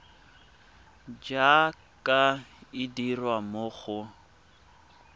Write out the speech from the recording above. jaaka e dirwa mo go